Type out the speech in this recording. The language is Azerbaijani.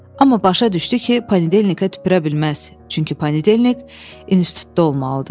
Amma başa düşdü ki, panedelenikə tüpürə bilməz, çünki panedelenik institutda olmalıdır.